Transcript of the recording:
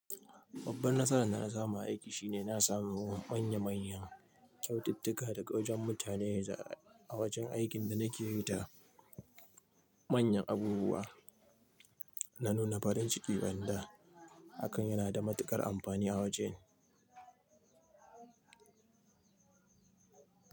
Babban nasaran da na samu a aiki shine na samu manya-manyan kyaututtuka daga wajen mutane a wajen aikin da na ke yi da manyan abubuwa. Na nuna farin ciki ban da hakan yana da matukar amfani a wajen.